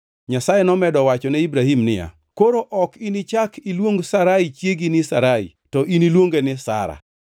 Nyasaye nomedo wachone Ibrahim niya, “Koro ok inichak iluong Sarai chiegi ni Sarai, to iniluonge ni Sara.